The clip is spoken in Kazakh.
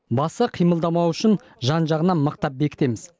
басы қимылдамауы үшін жан жағынан мықтап бекітеміз